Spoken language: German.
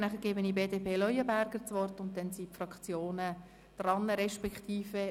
Danach gebe ich Grossrat Leuenberger das Wort, und dann sind die Fraktionen an der Reihe.